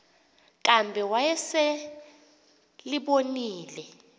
kambe wayesel ebonile